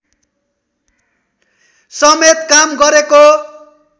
समेत काम गरेको